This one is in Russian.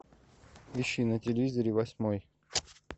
ищи на телевизоре восьмой